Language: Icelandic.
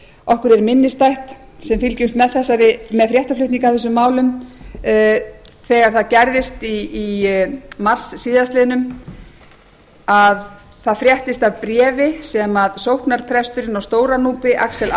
okkur er minnisstætt sem fylgjumst með fréttaflutningi af þessum málum þegar það gerðist í mars síðastliðinn að það fréttist af bréfi sem sóknarpresturinn á stóra núpi axel